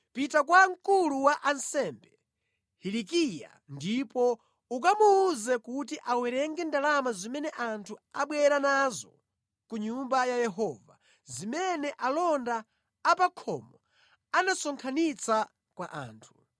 “Pita kwa mkulu wa ansembe Hilikiya ndipo ukamuwuze kuti awerenge ndalama zimene anthu abwera nazo ku Nyumba ya Yehova, zimene alonda a pa khomo anasonkhanitsa kwa anthu.